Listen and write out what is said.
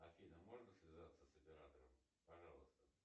афина можно связаться с оператором пожалуйста